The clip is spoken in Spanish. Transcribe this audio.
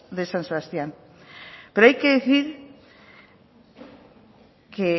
de san sebastián pero hay que decir que